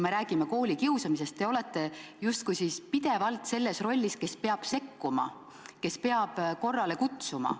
Me räägime koolikiusamisest, aga te olete tegelikult justkui pidevalt selle inimese rollis, kes peab sekkuma, kes peab korrale kutsuma.